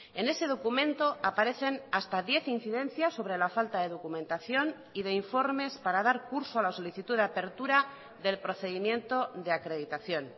en ese documento aparecen hasta diez incidencias sobre la falta de documentación y de informes para dar curso a la solicitud de apertura del procedimiento de acreditación